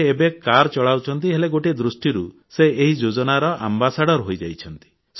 ସେ ଏବେ କାର ଚଳାଉଛନ୍ତି ହେଲେ ଗୋଟିଏ ଦୃଷ୍ଟିରୁ ସେ ଏହି ଯୋଜନାର ଆମ୍ବାସଡ଼ର ହେଇଯାଇଛନ୍ତି